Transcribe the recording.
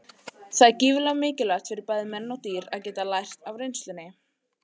Það er gífurlega mikilvægt fyrir bæði menn og dýr að geta lært af reynslunni.